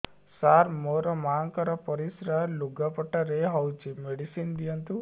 ସାର ମୋର ମାଆଙ୍କର ପରିସ୍ରା ଲୁଗାପଟା ରେ ହଉଚି ମେଡିସିନ ଦିଅନ୍ତୁ